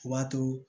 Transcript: O b'a to